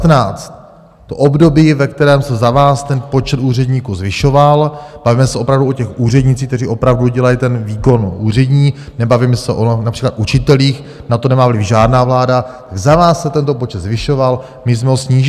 To období, ve kterém se za vás ten počet úředníků zvyšoval, bavíme se opravdu o těch úřednících, kteří opravdu dělají ten výkon úřední, nebavíme se o například učitelích, na to nemá vliv žádná vláda, za vás se tento počet zvyšoval, my jsme ho snížili.